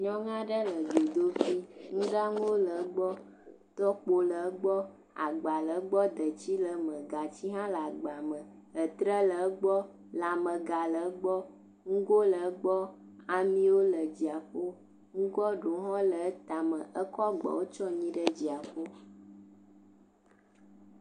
Nyɔnu aɖe le dzodoƒe, nuɖanu aɖewo le egbɔ, tɔkpo le gbɔ, agba le egbɔ detsi le eme, gatsi hã le agba me etre le egbɔ lamẽga le egbɔ, nugo le egbɔ amiwo le dziaƒo nugoa ɖewo le etama ekɔ ɖewo tsyɔ anyi le dziaƒo.